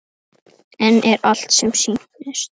En er allt sem sýnist?